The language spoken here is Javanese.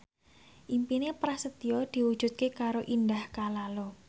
impine Prasetyo diwujudke karo Indah Kalalo